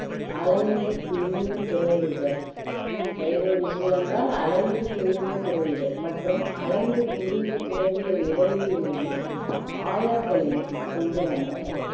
அலைந்து திரிந்து துறவுகள் கைரோவேஜ்கள் என்றால் அலைந்து திரிந்து துறவிகள் மற்றும் அஅலைந்து திரிந்து துறவிகள் இறையிலையும் ஆயர்களையும் கொண்டு வந்தனர்